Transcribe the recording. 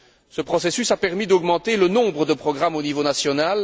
Ce processus a permis d'augmenter le nombre de programmes au niveau national.